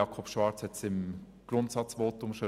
Jakob Schwarz hat es bereits im Grundsatzvotum erwähnt: